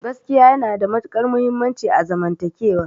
Gaskiya yana da matuƙar muhimmanci a zaman takewa